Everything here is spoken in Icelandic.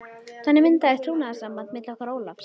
Þannig myndaðist trúnaðarsamband milli okkar Ólafs.